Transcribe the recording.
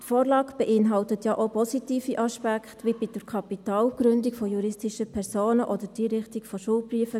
Die Vorlage enthält ja auch positive Aspekte, wie bei der Kapitalgründung juristischer Personen oder bei der Einrichtung von Schuldbriefen.